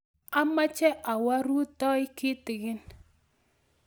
amoche awoo rutoi kitikin